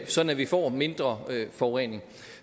sådan at vi får mindre forurening